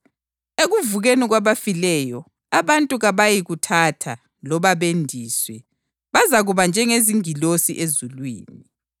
Ekuvukeni kwabafileyo abantu kabayikuthatha loba bendiswe; bazakuba njengezingilosi ezulwini.